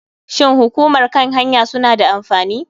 Shin hukumar kan hanya suna da amfani?